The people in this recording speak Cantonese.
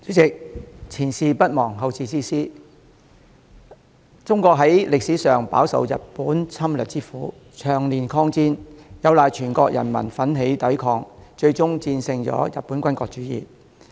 代理主席，"前事不忘，後事之師"，中國在歷史上飽受日本侵略之苦，長年抗戰，有賴全國人民奮起抵抗，最終戰勝日本的軍國主義。